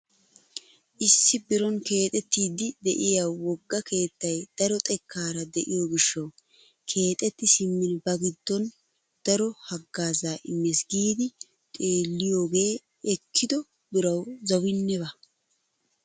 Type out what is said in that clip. Issi biron keexettiidi de'iyaa wogga keettay daro xekkaara de'iyoo giishshawu keexetti simmin ba giddon daro haggaazaa immes giidi xeelliyoogee ekkido birawu zawinne baawa!